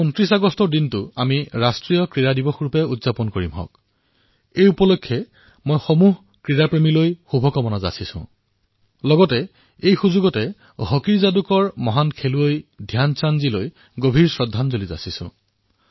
২৯ আগষ্টত আমি ৰাষ্ট্ৰীয় ক্ৰীড়া দিৱস পালন কৰিম আৰু এই উপলক্ষে ক্ৰীড়া প্ৰেমীসকলক শুভকামনা প্ৰদান কৰিছোঁ লগতে হকীৰ যাদুকৰ মহান খেলুৱৈ শ্ৰী ধ্যানচান্দৰ প্ৰতি মোৰ শ্ৰদ্ধাঞ্জলি জ্ঞাপন কৰিছোঁ